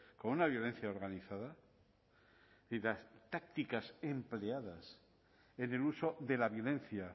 con una violencia organizada y las tácticas empleadas en el uso de la violencia